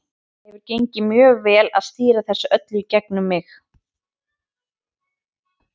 Það hefur gengið mjög vel að stýra þessu öllu í gegnum mig.